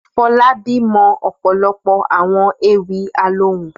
Fọlábí mọ ọ̀pọ̀lọpọ̀ àwọn ewì alohùn.